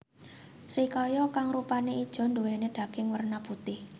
Srikaya kang rupane ijo nduwéni daging werna putih